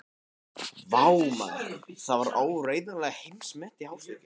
Vá, maður, það var áreiðanlega heimsmet í hástökki.